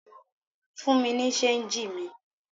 Fún mi ní ṣéńjì mi!